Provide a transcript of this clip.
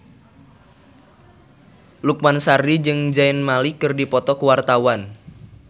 Lukman Sardi jeung Zayn Malik keur dipoto ku wartawan